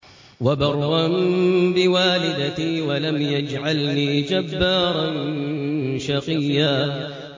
وَبَرًّا بِوَالِدَتِي وَلَمْ يَجْعَلْنِي جَبَّارًا شَقِيًّا